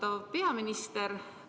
Austatud peaminister!